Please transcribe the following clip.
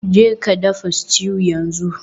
Jeka dafa stew yanzu.